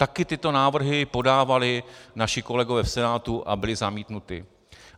Také tyto návrhy podávali naši kolegové v Senátu a byly zamítnuty.